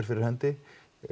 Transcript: fyrir hendi